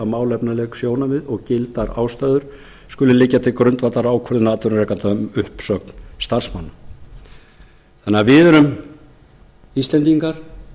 málefnaleg sjónarmið og gildar ástæður skuli liggja til grundvallar ákvörðun atvinnurekanda um uppsögn starfsmanna þannig að við erum íslendingar